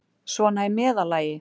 Svona í meðallagi.